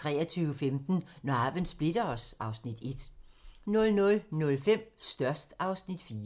23:15: Når arven splitter os (Afs. 1) 00:05: Størst (Afs. 4)